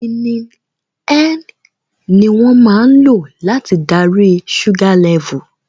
Humillini Ń ni wón máa ń lò láti darí ṣúgá lẹfù